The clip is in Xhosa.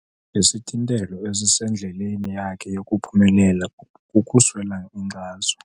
Isithintelo esisendleleni yakhe yokuphumelela kukuswela inkxaso.